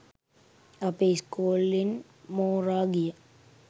අපේ ඉස්කෝලෙන් මෝරා ගිය